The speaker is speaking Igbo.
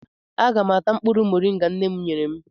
Aga m ata mkpụrụ mọrịnga nne m nyere m.